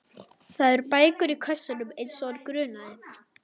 Það eru bækur í kössunum eins og hann grunaði.